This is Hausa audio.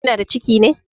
Kina da ciki ne?